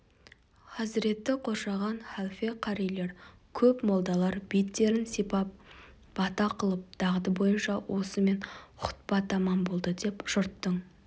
хазіретті қоршаған халфе қарилер көп молдалар беттерін сипап бата қылып дағды бойынша осымен хұтпа тамам болды деп жұрттың